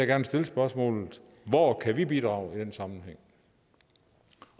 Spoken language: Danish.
gerne stille spørgsmålet hvor kan vi bidrage i den sammenhæng